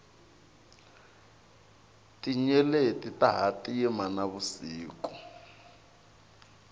tinyeleti ta hatima na vusiku